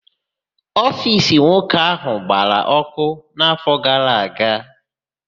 Ofiisi nwoke áhụ̀ gbara ọ́kụ́ n'áfọ gara aga.